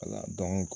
Wala dɔnko